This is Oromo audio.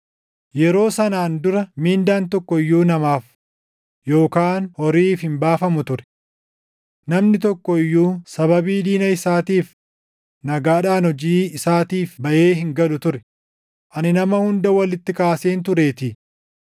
Yeroo sanaan dura mindaan tokko iyyuu namaaf yookaan horiif hin baafamu turre. Namni tokko iyyuu sababii diina isaatiif nagaadhaan hojii isaatiif baʼee hin galu ture; ani nama hunda walitti kaaseen tureetii.